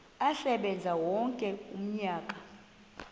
asebenze wonke umnyaka